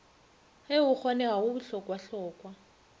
ge go kgonega go bohlokwahlokwa